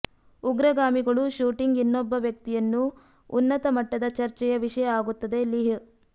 ಉಗ್ರಗಾಮಿಗಳು shooting ಇನ್ನೊಬ್ಬ ವ್ಯಕ್ತಿಯನ್ನು ಉನ್ನತ ಮಟ್ಟದ ಚರ್ಚೆಯ ವಿಷಯ ಆಗುತ್ತದೆ ಲಿಹ್